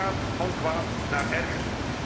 En het gaat van kwaad naar erger.